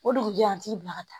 O dugujɛ an t'i bila ka taa